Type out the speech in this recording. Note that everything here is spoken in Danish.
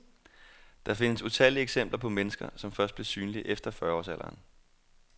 Der findes utallige eksempler på mennesker, som først blev synlige efter fyrreårs alderen.